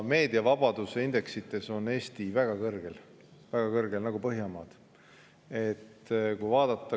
Meediavabaduse indeksites on Eesti väga kõrgel nagu Põhjamaad.